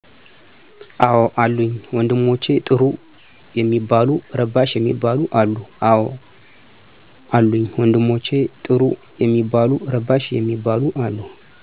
አዎ አሉኝ፣ ወንድሞቸ ጥሩም ሚባሉ ረባሽ ሚባሉም አሉ።